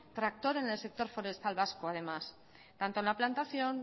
tractor en el sector forestar vasco además tanto en la plantación